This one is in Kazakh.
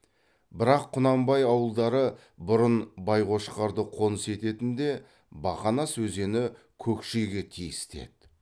бірақ құнанбай ауылдары бұрын байқошқарды қоныс ететін де бақанас өзені көкшеге тиісті еді